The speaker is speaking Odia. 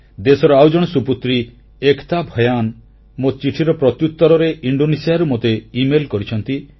ଦେଶର ଆଉ ଜଣେ ସୁପୁତ୍ରୀ ଏକତା ଭୟାନ୍ ମୋ ଚିଠିର ପ୍ରତ୍ୟୁତ୍ତରରେ ଇଣ୍ଡୋନେସିଆରୁ ମୋତେ ଇମେଲ କରିଛନ୍ତି